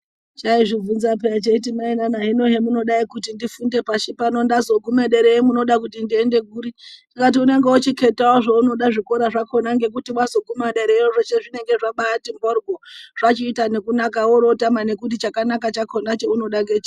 Chaizvibvunza peya cheiti mainana, hino hemunodai kuti ndifunde pashi pano, ndazogume dereyo munode kuti ndiende kuri?. Tikati unenenge wochiketawo zvikora zvakona ngekuti wazoguma derayo zveshe zvinongabati mhoryo. Zvachiita nekunaka worootama nekuti chakanaka chakona chaunoda ngechiri.